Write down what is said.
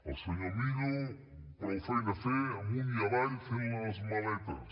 el senyor millo prou feina a fer amunt i avall fent les maletes